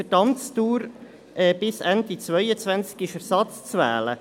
Für die Amtsdauer bis Ende 2022 ist Ersatz zu wählen.